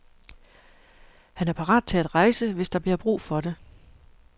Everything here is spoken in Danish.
Han er parat til at rejse, hvis der bliver brug for det.